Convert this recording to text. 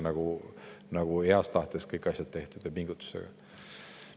Kas ikka on heas tahtes kõik asjad tehtud ja pingutatud?